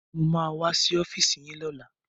Mo ma wá sí ọ́fíìsì yín lọ́la